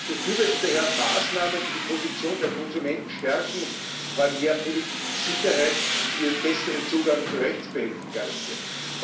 Ich befürworte daher Maßnahmen, die die Position der Konsumenten stärken und vor allem mehr Produktsicherheit sowie einen besseren Zugang zu Rechtsbehelfen garantieren.